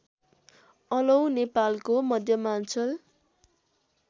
अलौ नेपालको मध्यमाञ्चल